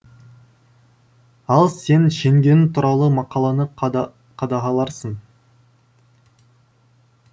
ал сен жеңгең туралы мақаланы қадағаларсың